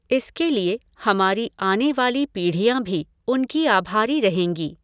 इसके लिए हमारी आने वाली पीढ़ियाँ भी उनकी आभारी रहेंगी।